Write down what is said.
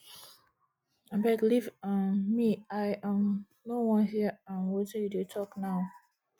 abeg leave um me i um no wan hear um wetin you dey talk now